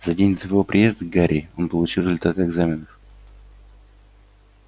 за день до твоего приезда гарри он получил результаты экзаменов